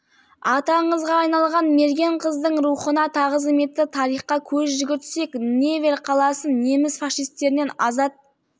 аты аңызға айналған мерген қыздың рухына тағзым етті тарихқа көз жүгіртсек невель қаласын неміс фашистерінен азат